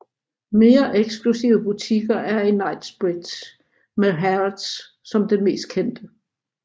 Mere eksklusive butikker er i Knightsbridge med Harrods som den mest kendte